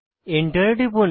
Enter টিপুন